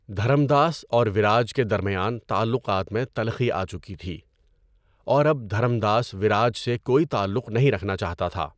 دھرم داس اور ویراج کے درمیان تعلقات میں تلخی آچکی تھی اور اب دھرم داس ویراج سے کوئی تعلق نہیں رکھنا چاہتا تھا۔